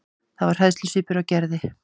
Það var hræðslusvipur á Gerði.